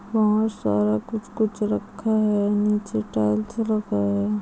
यहा सारा कुछ-कुछ रखा हुआ है नीचे टाइल्स लगा है।